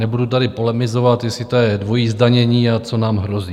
Nebudu tady polemizovat, jestli to je dvojí zdanění a co nám hrozí.